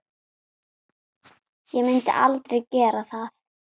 Ég myndi aldrei gera það.